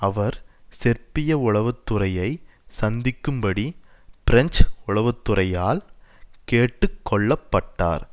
அவர் செர்பிய உளவுத்துறையை சந்திக்கும்படி பிரெஞ்சு உளவுத்துறையால் கேட்டுக்கொள்ளப்பட்டார்